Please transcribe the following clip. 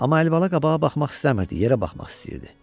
Amma Əlibala qabağa baxmaq istəmirdi, yerə baxmaq istəyirdi.